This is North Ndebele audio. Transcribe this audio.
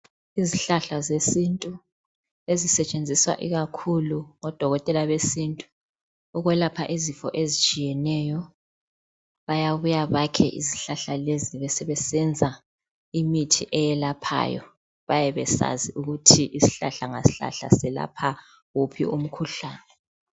Izihlahla zesintu ezisetshenziswa ikakhulu ngodokoteka besintu ukwelapha izifo ezitshiyeneyo bayabuya bakhe izihlahla lezi sebesenza imithi eyelaphayo bayabe besazi ukuthi isihlahla ngasihlahla selapha wuphi umkhuhlane